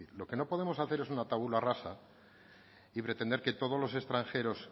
lo que no podemos hacer es una y pretender que todos los extranjeros